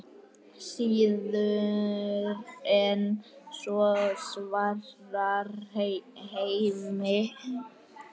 Síður en svo, svarar Hemmi.